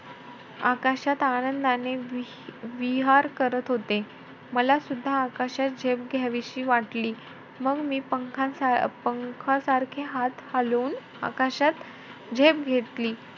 आकाशात आनंदाने विहार करत होते. मलासुद्धा आकाशात झेप घ्यावीशी वाटली. मग मी पंख~ पंखासारखे हात हलवून आकाशात झेप घेतली.